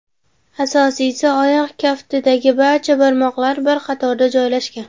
Asosiysi, oyoq kaftidagi barcha barmoqlar bir qatorda joylashgan.